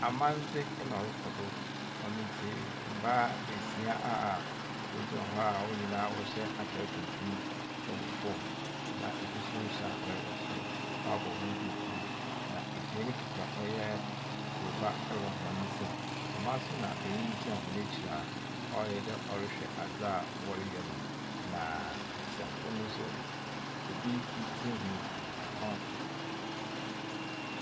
Amandze na ɔrokɔ do. Ɔno nti, mbaa beesia a wɔgyina hɔ a hɔn nyinaa wɔhyɛ atar tuntum wɔ fam na bi nso hyɛ atar wɔ sor, wɔabɔ hɔn duukuu, na binom kita ɔyɛ kroba wɔ hɔn nsamu. Dɛm ara nso na benyin gyina hɔn ekyir a ɔayɛ dɛ ɔrehwɛ adze a wɔreyɛ no, na besiafo no nso, bi tsirhwi ɔn .